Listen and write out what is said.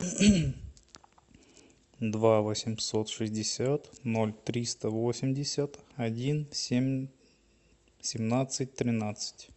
два восемьсот шестьдесят ноль триста восемьдесят один семь семнадцать тринадцать